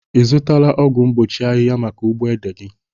Ị zutala ọgwọ mgbochi ahiha maka ugbo ede gi?